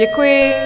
Děkuji.